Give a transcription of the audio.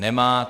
Nemá.